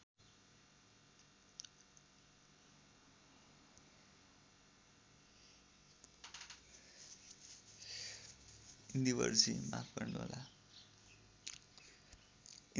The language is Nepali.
इन्दिवरजी माफ गर्नुहोला